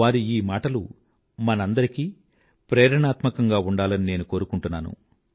వారి ఈ మాటలు మనందరికీ ప్రేరణాత్మకంగా ఉండాలని నేను కోరుకుంటున్నాను